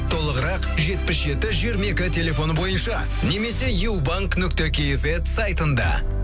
толығырақ жетпіс жеті жиырма екі телефоны бойынша немесе юбанк нүкте кизет сайтында